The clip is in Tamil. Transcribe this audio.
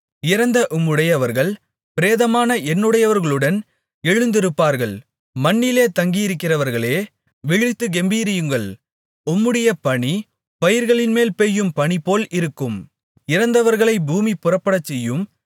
இறந்த உம்முடையவர்கள் பிரேதமான என்னுடையவர்களுடன் எழுந்திருப்பார்கள் மண்ணிலே தங்கியிருக்கிறவர்களே விழித்துக் கெம்பீரியுங்கள் உம்முடைய பனி பயிர்களின்மேல் பெய்யும் பனிபோல் இருக்கும் இறந்தவர்களைப் பூமி புறப்படச்செய்யும்